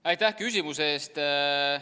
Aitäh küsimuse eest!